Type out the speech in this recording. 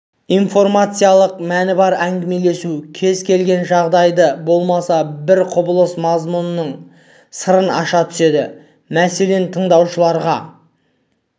информациялық мәні бар әңгімелесу кез келген жағдайды болмаса бір құбылыс мазмұнының сырын аша түседі мәселен тыңдаушыларға